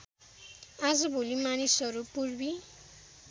आजभोलि मानिसहरू पूर्वी